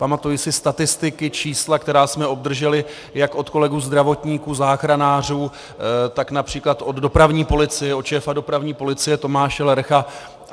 Pamatuji si statistiky, čísla, která jsme obdrželi jak od kolegů zdravotníků, záchranářů, tak například od dopravní policie, od šéfa dopravní policie Tomáše Lercha.